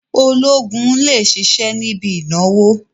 Ológun lè ṣiṣẹ́ níbi ìnáwó